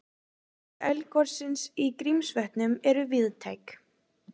Áhrif eldgossins í Grímsvötnum eru víðtæk